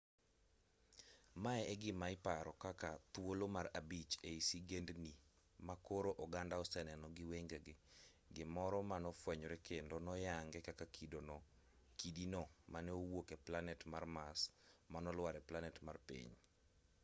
mae e gima iparo kaka thuolo mar abich ei sigendni ma koro oganda oseneno gi wengegi gimoro manofwenyore kendo noyangi kaka kidino manowuok e planet mar mars manolwar e planet mar piny